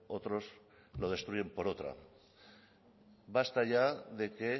otros lo destruyen por otra basta ya de que